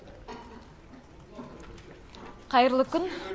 қайырлы күн